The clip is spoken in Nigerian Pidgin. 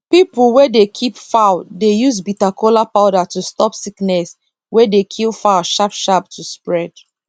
people wey dey keep fowl dey use bitter kola powder to stop sickness wey dey kill fowl sharp sharp to spread